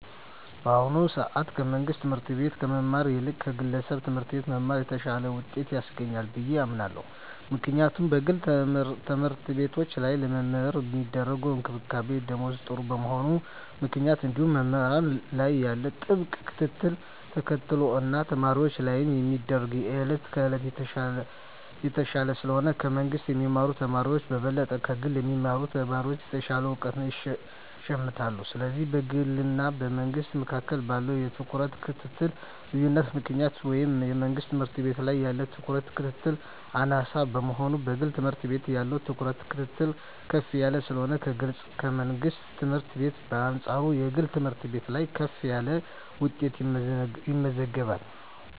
በአሁኑ ሰአት ከመንግስት ትምህርት ቤት ከመማር ይልቅ ከግለሰብ ትምህርት ቤት መማር የተሻለ ውጤት ያስገኛል ብየ አምናለው ምክንያቱም በግል ተምህርትቤቶች ላይ ለመምህራን ሚደረግ እንክብካቤና ደሞዝ ጥሩ በመሆኑ ምክንያት እንዲሁም መምህራን ላይ ያለው ጥብቅ ክትትልን ተከትሎ እና ተማሪወች ላይም የሚደረግ የየእለት ክትትል የተሻለ ስለሆነ ከመንግስ ከሚማሩ ተማሪወች በበለጠ ከግል የሚማሩ ተማሪወች የተሻለ እውቀት ይሸምታሉ ስለዚህ በግልና በመንግስ መካከል ባለው የትኩረትና የክትትል ልዮነት ምክንያት ወይም የመንግስት ትምህርት ቤት ላይ ያለው ትኩረትና ክትትል አናሳ በመሆኑና የግል ትምህርት ቤት ያለው ትኩረትና ክትትል ከፍ ያለ ስለሆነ ከግልና ከመንግስት ትምህርት ቤት በአንጻሩ የግል ትምህርት ቤት ላይ ከፍ ያለ ውጤት ይመዘገባል።